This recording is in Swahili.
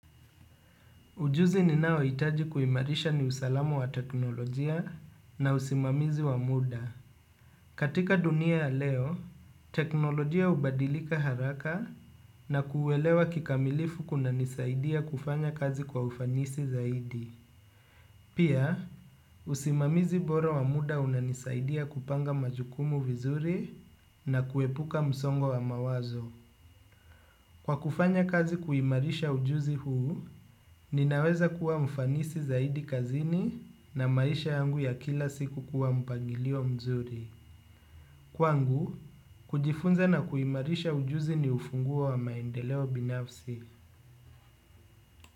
Ujuzi ninaohitaji kuimarisha ni usalama wa teknolojia na usimamizi wa muda. Katika dunia ya leo, teknolojia hubadilika haraka na kuelewa kikamilifu kunanisaidia kufanya kazi kwa ufanisi zaidi. Pia, usimamizi bora wa muda unanisaidia kupanga majukumu vizuri na kuepuka msongo wa mawazo. Kwa kufanya kazi kuimarisha ujuzi huu, ninaweza kuwa mfanisi zaidi kazini na maisha yangu ya kila siku kuwa mpangilio mzuri. Kwangu, kujifunza na kuimarisha ujuzi ni ufunguo wa maendeleo binafsi.